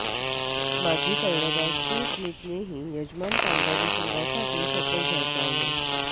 माजी कर्णधार स्टीव्ह स्मिथनेही यजमान कांगारू संघासाठी शतक झळकावले